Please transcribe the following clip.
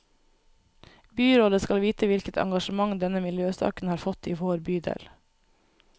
Byrådet skal vite hvilket engasjement denne miljøsaken har fått i vår bydel.